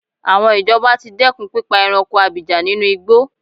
Àwọn ìjọba ti dẹ́kùn pípa ẹranko abìjà ninú igbó.